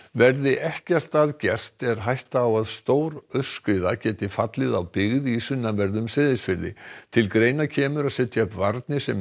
verði ekkert að gert er hætta á að stór aurskriða geti fallið á byggð í sunnanverðum Seyðisfirði til greina kemur að setja upp varnir sem